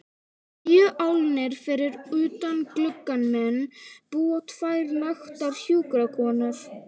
Tíu álnir fyrir utan gluggann minn búa tvær naktar hjúkrunarkonur.